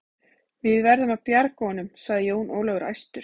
Við verðum að bjarga honum, sagði Jón Ólafur æstur.